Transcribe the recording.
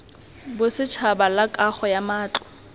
bosetšhaba la kago ya matlo